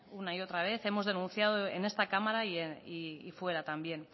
una y otra vez hemos denunciado en esta cámara y fuera también